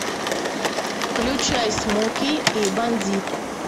включай смоки и бандит